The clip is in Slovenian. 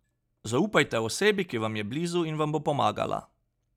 Zaupajte osebi, ki vam je blizu in vam bo pomagala.